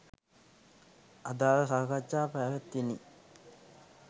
අදාළ සාකච්ඡා පැවත්විණි